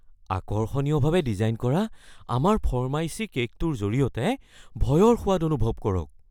আকৰ্ষণীয়ভাৱে design কৰা আমাৰ ফৰ্মাইচী কে'কটোৰ জৰিয়তে ভয়ৰ সোৱাদ অনুভৱ কৰক।